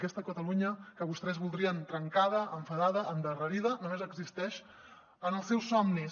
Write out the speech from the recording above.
aquesta catalunya que vostès voldrien trencada enfadada endarrerida només existeix en els seus somnis